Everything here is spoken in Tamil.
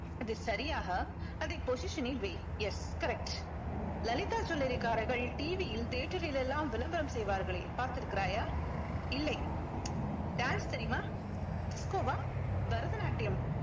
அது சரியாக அதை position ல் வை yes correct லலிதா jewelry காரர்கள் TV யில் தியேட்டரில் எல்லாம் விளம்பரம் செய்வார்களே பார்த்திருக்கிறாயா இல்லை dance தெரியுமா disco வா பரதநாட்டியம்